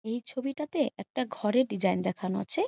এই ছবিটাতে একটা ঘরের ডিজাইন দেখানো আছে।